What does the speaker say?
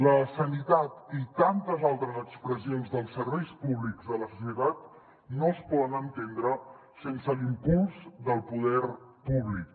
la sanitat i tantes altres expressions dels serveis públics de la societat no es poden entendre sense l’impuls del poder públic